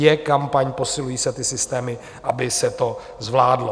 Je kampaň posilující a ty systémy, aby se to zvládlo.